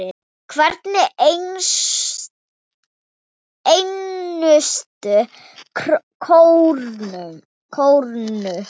Hverja einustu krónu.